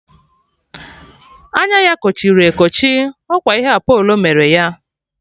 Anya ya kochiri ekochi, ọkwa ihe Apolo mere ya.